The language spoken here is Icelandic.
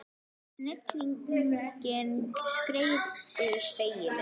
Snigillinn skreið yfir spegilinn.